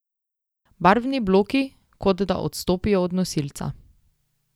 Barvni bloki kot da odstopijo od nosilca.